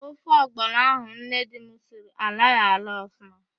Ofe ọgbọnọ ahụ nne di m siri alọghị alọ ọfụma.